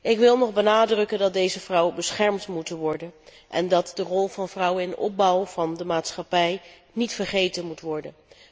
Ik wil nog benadrukken dat deze vrouwen beschermd moeten worden en dat de rol van vrouwen bij de opbouw van de maatschappij niet vergeten mag worden.